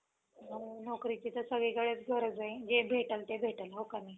नोकरीची तर सगळीकडेच गरज ये. जे भेटल ते भेटल हो का नाही?